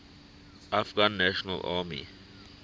afghan national army